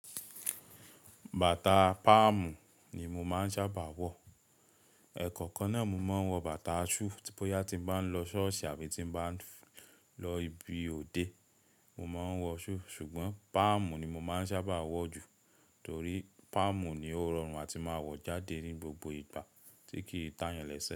Bàtà páàmù ni mo máa ń sábà wọ̀. Ẹ̀kọ̀kan náà mo máa ń wọ bàtà shùù tí bóyá tí n bá ń lọ ṣọ́ọ̀ṣì àbí tí n bá ń lọ ibi òde, mo máa ń wọ shùù. Ṣùgbọ́n, páàmù ni mo máa ń sábà wọ̀ jù torí páàmù ni ó rọrùn àti máa wọ̀ jáde ní gbogbo ìgbà tí kì í tàyàn lese.